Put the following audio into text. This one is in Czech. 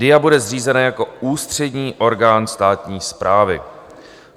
DIA bude zřízena jako ústřední orgán státní správy.